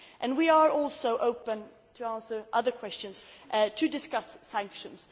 We are also open to answering other questions and to discuss sanctions.